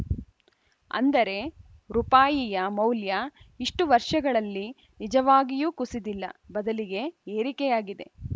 ಅಂದರೆ ರುಪಾಯಿಯ ಮೌಲ್ಯ ಇಷ್ಟು ವರ್ಷಗಳಲ್ಲಿ ನಿಜವಾಗಿಯೂ ಕುಸಿದಿಲ್ಲ ಬದಲಿಗೆ ಏರಿಕೆಯಾಗಿದೆ